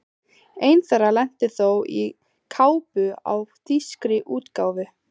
Ein þeirra lenti þó aftan á kápu á þýskri útgáfu.